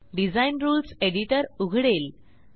design rules editor उघडेल